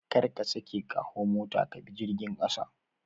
Kar ka sake ka hau mota ka bi jirgin ƙasa